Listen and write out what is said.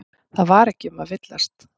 Það var ekki um að villast.